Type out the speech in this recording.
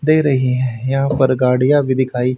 दे रही हैं यहां पर गाड़ियां भी दिखाई--